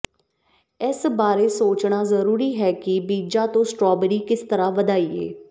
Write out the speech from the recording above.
ਇਸ ਬਾਰੇ ਸੋਚਣਾ ਜ਼ਰੂਰੀ ਹੈ ਕਿ ਬੀਜਾਂ ਤੋਂ ਸਟ੍ਰਾਬੇਰੀ ਕਿਸ ਤਰ੍ਹਾਂ ਵਧਾਈਏ